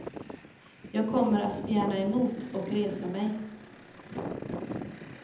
Jag kommer att spjärna emot och resa mig.